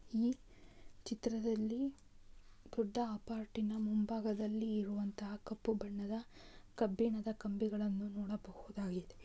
ಈ ಚಿತ್ರದಲ್ಲಿ ಕೂಡ ಅಪಾರ್ಟಿನ ಮುಂಭಾಗದಲ್ಲಿ ಇರುವಂತಹ ಕಪ್ಪು ಬಣ್ಣದ ಕಬ್ಬಿಣದ ಕಂಬಿಗಳನ್ನು ನೋಡಬಹುದಾಗಿದೆ.